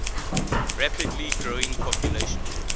rapidly growing population